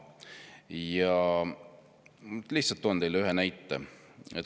Lihtsalt toon teile ühe näite.